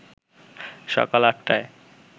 সকাল ৮ টায়